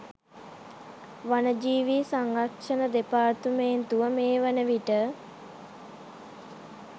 වනජීවී සංරක්ෂණ දෙපාර්තමේන්තුව මේ වනවිට